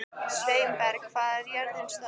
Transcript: Sveinberg, hvað er jörðin stór?